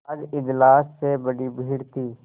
आज इजलास में बड़ी भीड़ थी